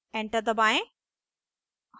enter दबाएं